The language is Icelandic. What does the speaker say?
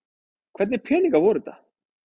Hvernig peningar voru þetta?